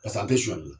Pas' an tɛ sonyali kɛ